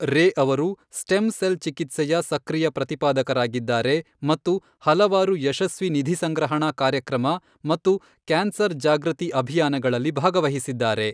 ರೇ ಅವರು stem cell ಚಿಕಿತ್ಸೆಯ ಸಕ್ರಿಯ ಪ್ರತಿಪಾದಕರಾಗಿದ್ದಾರೆ ಮತ್ತು ಹಲವಾರು ಯಶಸ್ವಿ ನಿಧಿಸಂಗ್ರಹಣಾ ಕಾರ್ಯಕ್ರಮ ಮತ್ತು ಕ್ಯಾನ್ಸರ್ ಜಾಗೃತಿ ಅಭಿಯಾನಗಳಲ್ಲಿ ಭಾಗವಹಿಸಿದ್ದಾರೆ.